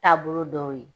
Taabolo dɔw ye